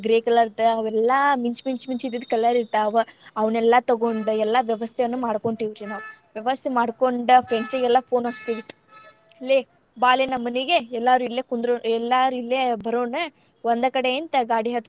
Gray colour ದ್ ಅವೆಲ್ಲಾ ಮಿಂಚ್ ಮಿಂಚ್ ಇದ್ದಿದ್ colour ಇರ್ತಾವ ಅವ್ನೆಲ್ಲಾ ತುಗೊಂಡ್ ಎಲ್ಲಾ ವ್ಯವಸ್ಥೆನೂ ಮಾಡ್ಕೊಂತೆವ್ರಿ ನಾವ್. ನಾನ್ ವ್ಯವಸ್ಥೆ ಮಾಡ್ಕೊಂಡ್ friends ಗೆಲ್ಲಾ phone ಹಚ್ಚತೀನ್ರಿ ಲೇ ಬಾಲೇ ನಮ್ಮ್ ಮನಿಗೆ ಎಲ್ಲರು ಇಲ್ಲೇ ಕುಂದ್ರು ಎಲ್ಲಾರು ಇಲ್ಲೇ ಬರೋಣ, ಒಂದ್ ಕಡೆಯಿಂದ ಗಾಡಿ ಹತ್ಕೊಂಡ್.